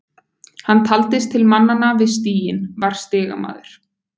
Hann taldist til mannanna við stiginn, var stigamaður.